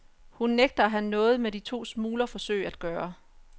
Hun nægter af have noget med de to smuglerforsøg at gøre.